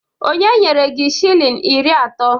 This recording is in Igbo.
Onye nyere gi shilling iri ato